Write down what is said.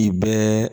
I bɛɛ